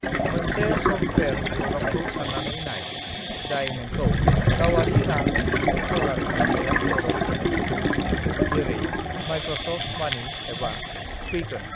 "मोनसे सॉफ्टवेयर प्रग्रामखौ साननानै नाय जाय नोंखौ गावारि रां बिबुं जगार खालामनायाव मदद होनो हागोन, जेरै माइक्र'सफ्ट मानी एबा क्विकन।"